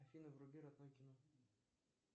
афина вруби родное кино